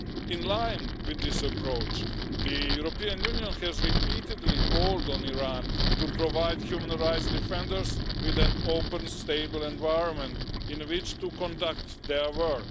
In line with this approach, the European Union has repeatedly called on Iran to provide human rights defenders with an open, stable environment in which to conduct their work.